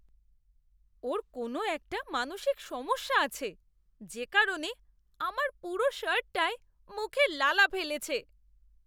ওর কোনও একটা মানসিক সমস্যা আছে, যে কারণে আমার পুরো শার্টটায় মুখের লালা ফেলেছে!